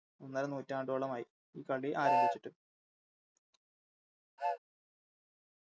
ഒന്നര നൂറ്റാണ്ടോളമായി ഈ കളി ആരംഭിച്ചിട്ട്